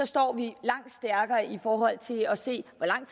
står vi langt stærkere i forhold til at se hvor lang